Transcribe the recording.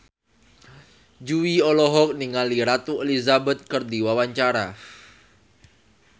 Jui olohok ningali Ratu Elizabeth keur diwawancara